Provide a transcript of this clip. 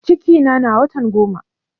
Cikina na watan goma